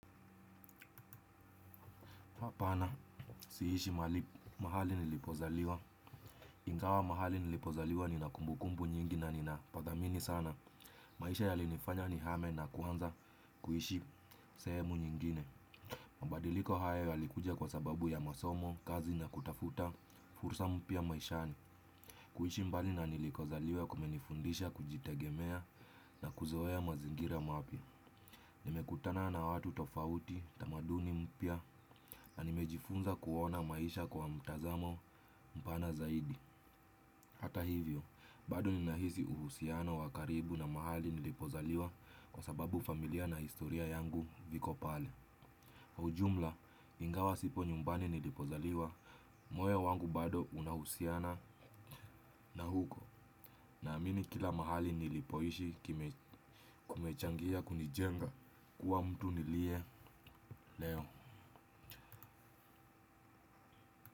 Hapana, siishi mahali nilipozaliwa. Ingawa mahali nilipozaliwa nina kumbukumbu nyingi na nina pa dhamini sana. Maisha yalinifanya nihame na kuanza kuishi sehemu nyingine. Mabadiliko hayo yalikuja kwa sababu ya masomo, kazi na kutafuta, fursa mpya maishani. Kuishi mbali na nilikozaliwa kumenifundisha kujitegemea na kuzoea mazingira mapya. Nimekutana na watu tofauti tamaduni mpya na nimejifunza kuona maisha kwa mtazamo mpana zaidi. Hata hivyo, bado ninahisi uhusiano wa karibu na mahali nilipozaliwa kwa sababu familia na historia yangu viko pale. Ujumla, ingawa sipo nyumbani nilipozaliwa, moyo wangu bado unahusiana na huko. Naamini kila mahali nilipoishi kumechangia kunijenga kuwa mtu nilie leo.